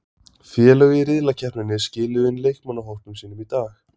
Félög í riðlakeppninni skiluðu inn leikmannahópum sínum í dag.